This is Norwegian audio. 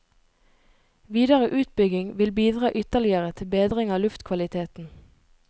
Videre utbygging vil bidra ytterligere til bedring av luftkvaliteten.